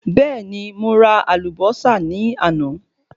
Bẹẹni, mo ra àlùbọ́sà ní àná